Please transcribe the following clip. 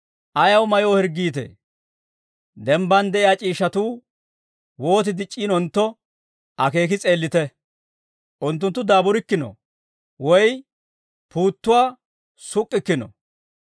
«Ayaw mayoo hirggiitee? Dembban de'iyaa c'iishshatuu wooti dic'c'iinontto, akeeki s'eellite; unttunttu daaburikkino woy puuttuwaa suk'k'ikkino.